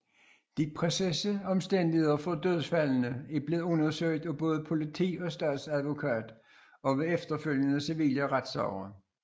De præcise omstændigheder for dødsfaldene er blevet undersøgt af både politi og statsadvokat og ved efterfølgende civile retssager